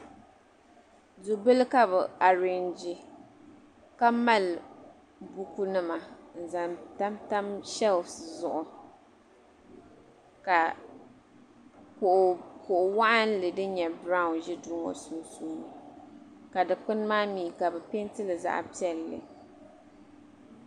dubili ka bi arɛnji ka mali buku nima n zaŋ tamtam sheelf zuɣu ka kuɣu waɣanli din nyɛ biraawn ʒɛ duu ŋɔ puuni ka dikpuni maa mii ka bi peentili zaɣ piɛlli